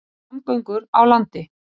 Samgöngur á landi